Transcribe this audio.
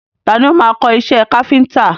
Tani o máa kọ́ iṣẹ́ káfíńńtà?